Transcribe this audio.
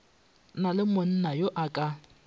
na le monnayo a ka